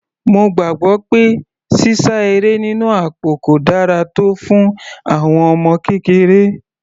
Mo gbàgbọ́ pé sísá eré nínú àpò kò dára tọ́ fún àwọn ọmọ kékeré.